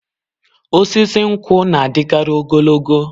Osisi nkwụ na-adịkarị ogologo